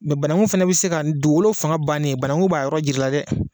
banangun fana bɛ se ka dugugolo fanga bannen banangun b'a yɔrɔ jir'i la dɛ.